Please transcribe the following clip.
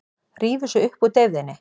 Rífur sig upp úr deyfðinni.